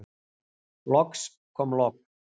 Loks kom logn.